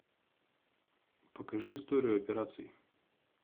покажи историю операций